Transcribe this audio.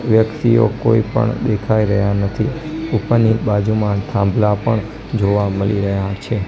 વ્યકિતઓ કોઈ પણ દેખાઈ રહ્યા નથી ઉપરની બાજુમાં થાંભલા પણ જોવા મલી રહ્યા છે.